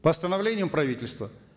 постановлением правительства